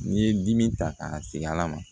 N'i ye dimi ta k'a sigi ala ma